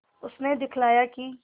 उसने दिखलाया कि